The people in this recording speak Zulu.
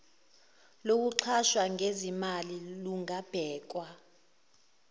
lokuxhasa ngezimali lungabhekwa